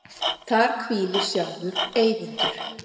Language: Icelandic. Þar hvílir sjálfur Eyvindur.